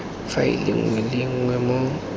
faele nngwe le nngwe mo